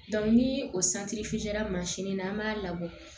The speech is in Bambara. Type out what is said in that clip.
ni o na an b'a labɔ